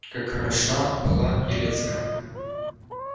как хороша была елецкая